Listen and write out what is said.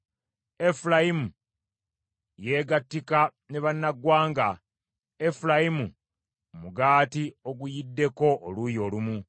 “Efulayimu yeegattika ne bannaggwanga; Efulayimu mugaati oguyiddeko oluuyi olumu.